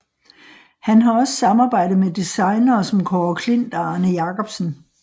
Han har også samarbejdet med designere som Kaare Klint og Arne Jacobsen